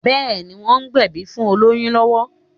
Bẹ́ẹ̀̀ni, wọ́n ń gbẹ̀bí fún olóyún lọ́wọ́